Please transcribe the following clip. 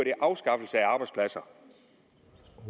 en afskaffelse af arbejdspladser